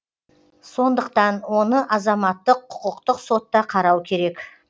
сондықтан оны азаматтық құқықтық сотта қарау керек